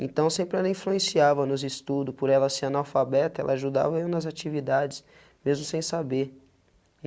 Então, sempre ela influenciava nos estudos, por ela ser analfabeta, ela ajudava eu nas atividades, mesmo sem saber.